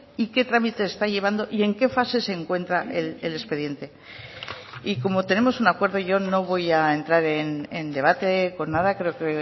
y qué trámite está llevando y en qué fase se encuentra el expediente y como tenemos un acuerdo yo no voy a entrar en debate con nada creo que